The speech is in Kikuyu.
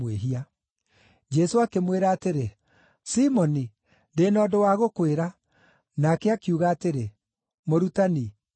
Jesũ akĩmwĩra atĩrĩ, “Simoni, ndĩ na ũndũ wa gũkwĩra.” Nake akiuga atĩrĩ, “Mũrutani, njĩĩra.”